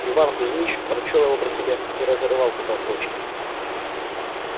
иван кузьмич прочёл его про себя и разорвал потом в клочки